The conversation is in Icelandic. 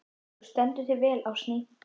Þú stendur þig vel, Ásný!